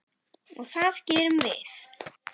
Og það gerum við.